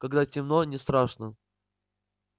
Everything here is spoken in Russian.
когда темно не страшно